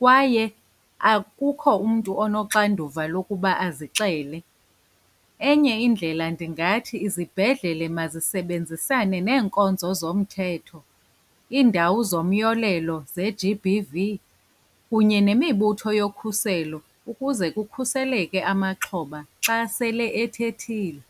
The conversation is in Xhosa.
kwaye akukho umntu onoxanduva lokuba azixele. Enye indlela ndingathi izibhedlele mazisebenzisane neenkonzo zomthetho, iindawo zomyolelo ze-G_B_V, kunye nemibutho yokhuselo ukuze kukhuseleke amaxhoba xa sele ethethile.